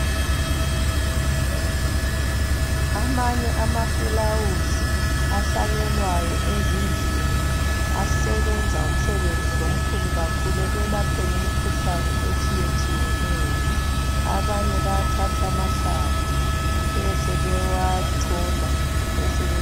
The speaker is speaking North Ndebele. Amanye amafulawuzi ahlanyelwayo ezindlini asebenza umsebenzi omkhulu kakhulu ekwelapheni imikhuhlane etshiyetshiyeneyo abanye bayathatha amahlamvu besebewachola besebe.